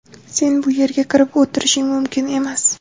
Sen bu yerga kirib o‘tirishing mumkin emas.